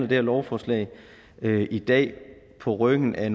her lovforslag i dag på ryggen af